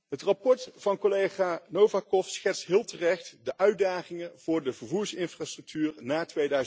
Het verslag van collega Novakov schetst heel terecht de uitdagingen voor de vervoersinfrastructuur na